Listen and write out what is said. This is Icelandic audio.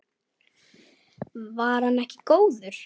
Var hann ekki góður?